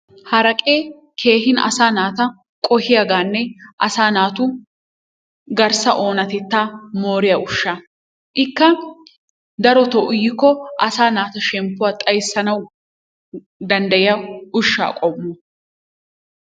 Haraqqee asa nata qo'hiyaaganne assa nataa kehippe, asa natu garssa onattettaa moriyaa ushsha, ikka daroto uyiko assa natu shempuwa xaysanawu dandayiyaa ushaa qommo.